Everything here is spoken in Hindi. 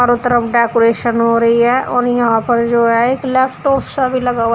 वो तरफ डेकोरेशन हो रही है और यहां पर जो है एक लैपटॉप सा भी लगा हुआ--